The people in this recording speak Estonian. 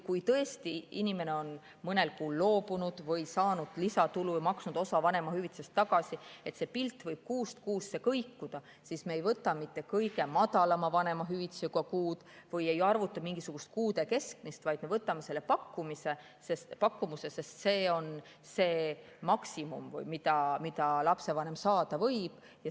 Kui tõesti on inimene mõni kuu loobunud või saanud lisatulu ja maksnud osa vanemahüvitisest tagasi – see pilt võib kuust kuusse kõikuda –, siis me ei võta mitte kõige madalama vanemahüvitisega kuud või ei arvuta mingisugust kuude keskmist, vaid me võtame selle pakkumuse, sest see on see maksimum, mida lapsevanem saada võib.